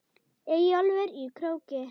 Eyjólf í Króki.